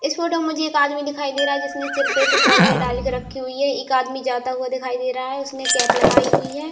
इस फोटो में मुझे एक आदमी दिखाई दे रहा है जिसने सिर पे से तौलिया डालकर रखी हुई है। एक आदमी जाता हुआ दिखाई दे रहा है उसने कैप लगाई हुई है।